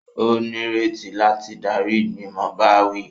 O nireti láti darí igbimọ ìbáwí